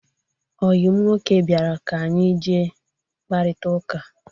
Ọyim nwoke bịara ka anyị jee kparita ụka.